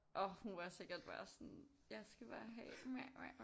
Åh hun var sikkert bare sådan jeg skal bare have